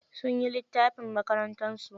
Sunyi littafin makarantarsu.